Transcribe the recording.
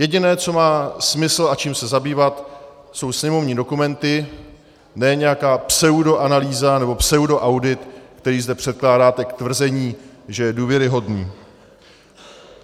Jediné, co má smysl a čím se zabývat, jsou sněmovní dokumenty, ne nějaká pseudoanalýza nebo pseudoaudit, který zde předkládáte k tvrzení, že je důvěryhodný.